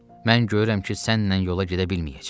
Mən görürəm ki, sənlə yola gedə bilməyəcəm.